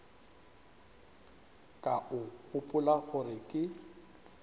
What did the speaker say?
ka o gopola gore ke